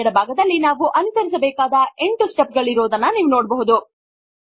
ಎಡ ಭಾಗದಲ್ಲಿ ನಾವು ಅನುಸರಿಸಬೇಕಾದ 8 ಸ್ಟೆಪ್ ಗಳಿರುವುದನ್ನು ಗಮನಿಸಿ